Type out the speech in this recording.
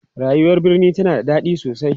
rayuwar birni tana da daɗi sosai